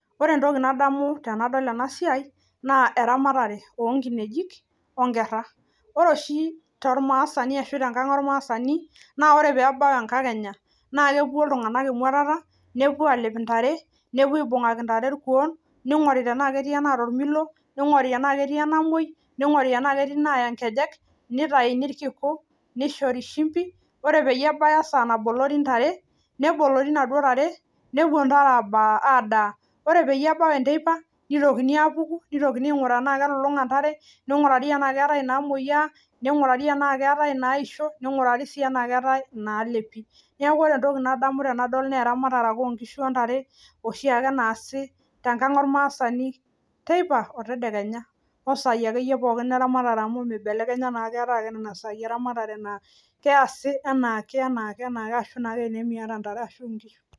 Ore entoki nadamu tenadol ena siai naa eramatare onkinejik onkerra ore oshi tormaasani ashu tenkang ormaasani naa ore peebau enkakenya naa kepuo iltung'anak emuatata nepuo alep intare nepuo aibung'aki intare irkuon ning'ori tenaa ketii enaata ormilo ning'ori enaa ketii enamuoi ning'ori enaa ketii inaaya nkejek nitaini irkiku nishori shimbi ore peyie ebaya esaa nabolori intare nebolori inaduo tare nepuo intare abaa adaa ore peyie ebau enteipa nitokini apuku nitokini aing'uraa anaa kelulung'a intare ning'urari enaa keetae inaamoyia ning'urari enaa keetae inaisho niing'urari sii enaa keetae inaalepi niaku ore entoki nadamu enadol neramatare ake onkishu ontare oshiake naasi tenkang ormaasani teipa otedekenya osai akeyie pookin eramatare amu mibelekenya naa keetae ake nena saai eramatare naa keyasi anaake anaake anaake ashu naake enaa emiata intare ashu inkishu.